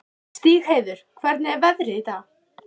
Stígheiður, hvernig er veðrið í dag?